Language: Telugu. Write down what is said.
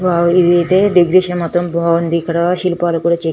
వావ్ ఇధైతే డెకరేషన్ మొత్తం బాగుంది ఇక్కడ శిల్పాలు చే --